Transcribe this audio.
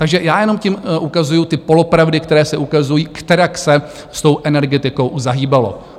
Takže já jenom tím ukazuji ty polopravdy, které se ukazují, kterak se s tou energetikou zahýbalo.